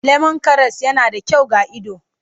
Lemon karas yana da kyau ga ido.